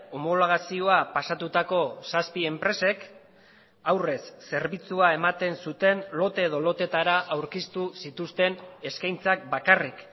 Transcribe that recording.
homologazioa pasatutako zazpi enpresek aurrez zerbitzua ematen zuten lote edo loteetara aurkeztu zituzten eskaintzak bakarrik